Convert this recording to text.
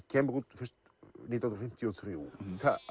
kemur út fyrst nítján hundruð fimmtíu og þrjú það